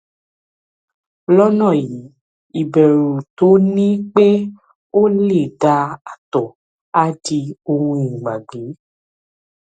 lọnà yìí ìbẹrù tó o ní pé o lè da ààtọ á di ohun ìgbàgbé